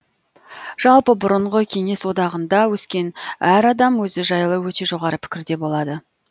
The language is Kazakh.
жалпы бұрынғы кеңес одағында өскен әр адам өзі жайлы өте жоғары пікірде болады